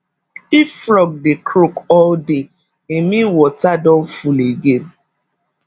if frog dey croak all day e mean water don full again